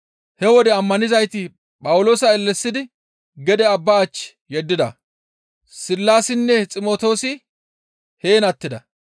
He wode ammanizayti Phawuloosa ellesidi gede abba achchi yeddida; Sillaasinne Ximtoosi heen attida.